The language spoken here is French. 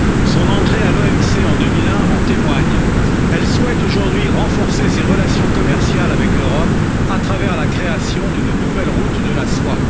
Son entrée à l'OMC en 2001 en témoigne elle souhaite aujourd'hui renforcer ses relations commerciales avec l'Europe à travers la création d'une nouvelle route de la soie.